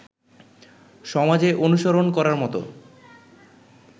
সমাজে অনুসরণ করার মত